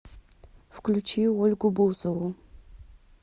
включи ольгу бузову